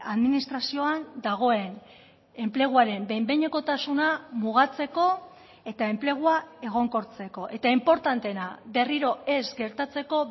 administrazioan dagoen enpleguaren behin behinekotasuna mugatzeko eta enplegua egonkortzeko eta inportanteena berriro ez gertatzeko